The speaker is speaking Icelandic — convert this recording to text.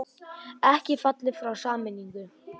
Ekki fallið frá sameiningum